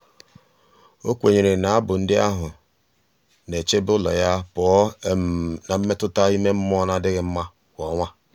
o kwenyere na abụ ndị ahụ na-echebe ụlọ ya pụọ um na mmetụta ime mmụọ na-adịghị mma kwa ọnwa.